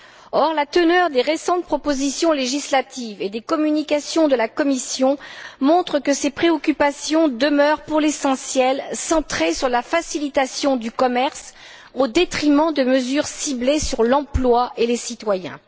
Or, la teneur des récentes propositions législatives et des communications de la Commission montre que ses préoccupations demeurent, pour l'essentiel, centrées sur la facilitation du commerce au détriment de mesures ciblées sur l'emploi et les citoyens.